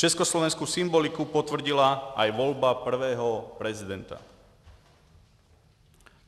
Československou symboliku potvrdila i volba prvního prezidenta.